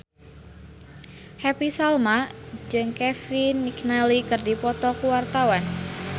Happy Salma jeung Kevin McNally keur dipoto ku wartawan